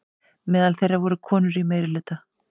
Meðal þeirra voru konur í meirihluta.